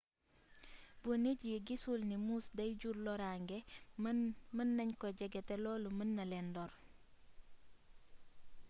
bu nit yi gisul ni moose dey jur lorange mën nagn ko jege te lolu mën na len lor